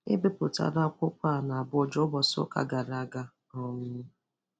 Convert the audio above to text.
E bipụtara akwụkwọ a n'Abuja ụbọchị ụka gara aga. um